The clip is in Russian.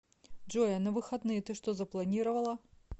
джой а на выходные ты что запланировала